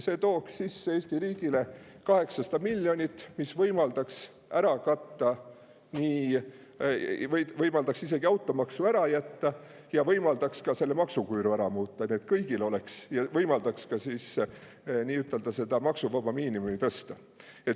See tooks Eesti riigile sisse 800 miljonit, mis võimaldaks isegi automaksu ära jätta ja ka selle maksuküüru ära muuta, võimaldaks ka maksuvaba miinimumi tõsta.